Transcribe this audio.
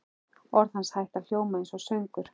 Orð hans hætta að hljóma einsog söngur.